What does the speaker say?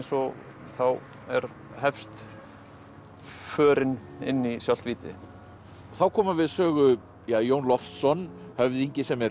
og þá hefst förin inn í sjálft víti þá koma við Sögu Jón Loftsson höfðingi sem er